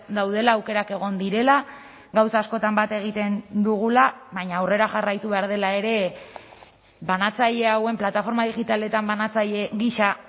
daudela aukerak egon direla gauza askotan bat egiten dugula baina aurrera jarraitu behar dela ere banatzaile hauen plataforma digitaletan banatzaile gisa